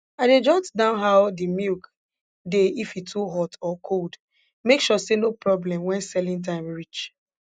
i dey jot down how de milk dey if e too hot or cold make sure say no problem when selling time reach